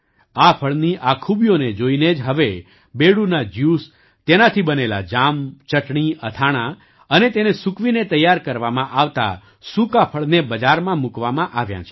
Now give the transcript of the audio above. આ ફળની આ ખૂબીઓને જોઈને જ હવે બેડુના જ્યુસ તેનાથી બનેલા જામ ચટણી અથાણાં અને તેને સૂકવીને તૈયાર કરવામાં આવતા સૂકા ફળને બજારમાં મૂકવામાં આવ્યાં છે